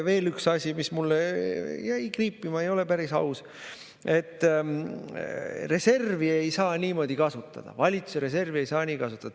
Veel üks asi, mis mul jäi kriipima ja mis ei ole päris aus: reservi ei saa niimoodi kasutada, valitsuse reservi ei saa nii kasutada.